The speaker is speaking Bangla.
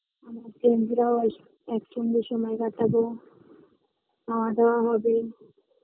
আমার friends রাও আসবে একসঙ্গে সময় কাটাবো খাওয়া দাওয়া হবে